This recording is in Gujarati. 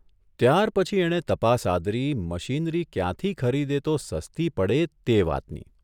ત્યારપછી એણે તપાસ આદરી મશીનરી ક્યાંથી ખરીદે તો સસ્તી પડે તે વાતની !